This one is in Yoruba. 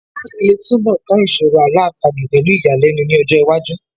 Mark lè túnbọ̀ tán ìṣòro Àlọ́ àpagbè pẹ̀lú ìyàlẹ́nu ní ọjọ́ iwájú